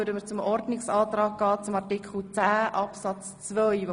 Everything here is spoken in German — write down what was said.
Wir gehen über zum Ordnungsantrag zu Artikel 10 Absatz 2 über.